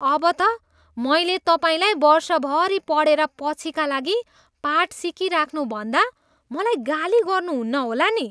अब त मैले तपाईँलाई वर्षभरि पढेर पछिका लागि पाठ सिकिराख्नु भन्दा मलाई गाली गर्नुहुन्न होला नि?